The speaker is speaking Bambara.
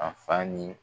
A fa ni